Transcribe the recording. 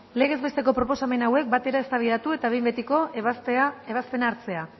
legez besteko proposamen hauek batera eztabaidatu eta behin ebazpena hartzea